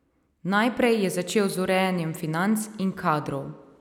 Najprej je začel z urejanjem financ in kadrov.